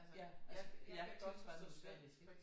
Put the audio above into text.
Ja altså ja tilsvarende til Sverige ik